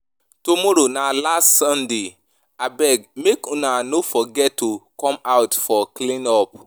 Tomorrow na last Saturday abeg make Ina no forget to come out fir clean up